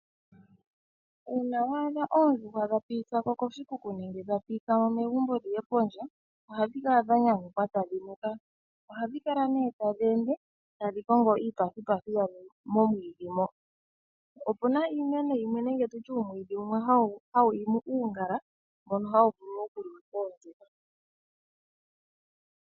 Uuna wa adha oondjuhwa dha pitithwa ko koshikuku nenge dha pitithwa mo megumbo dhi ye pondje, ohadhi kala dha nyanyukwa tadhi nuka. Ohadhi kala nduno tadhi ende, tadhi kongo iipathipathi yadho momwiidhi mo. Opu na iimeno yimwe nenge tu tye uumwiidhi wumwe hawu imi uungala, mbono hawu vulu okuliwa koondjuhwa.